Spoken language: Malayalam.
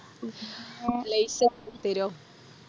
ലെയ്സ് ഒക്കെ തരോ